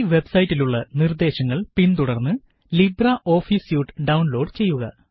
ഈ വെബ്സൈറ്റിലുള്ള നിര്ദേശങ്ങള് പിന്തുടര്ന്ന് ലിബ്രെ ഓഫീസ് സ്യൂട്ട് ഡൌണ്ലോഡ് ചെയ്യുക